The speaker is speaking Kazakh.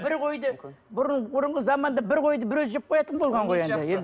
бір қойды бұрын бұрынғы заманда бір қойды бір өзі жеп қоятын болған ғой енді